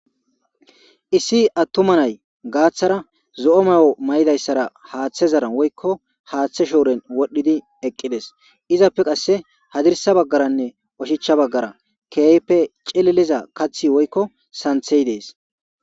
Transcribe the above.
issi attuma nay gaaththara zo'o mayo mayidayssara haaththezaran woykko haaththe shooren wodhdhidi eqqides izappe qasse hadirsa baggaranne oshichcha baggara keehippe celiliza kathi woykko santhey dees